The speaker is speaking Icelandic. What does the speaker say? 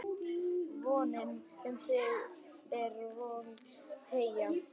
VONIN um þig er volg teygja